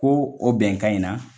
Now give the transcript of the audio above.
Ko o bɛnkan in na